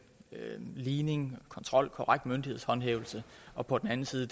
ligning kontrol korrekt myndighedshåndhævelse og på den anden side